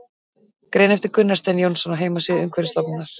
Grein eftir Gunnar Stein Jónsson á heimasíðu Umhverfisstofnunar.